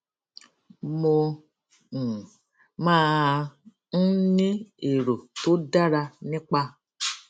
mo um máa ń ní èrò tó dára nípa